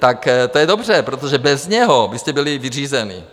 Tak to je dobře, protože bez něho byste byli vyřízení.